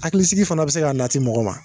Hakilisigi fana bi se k'a nati mɔgɔ ma.